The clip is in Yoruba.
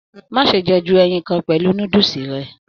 Má ṣe jẹ ju ẹyìn kàn pẹlú núdúsí rẹ!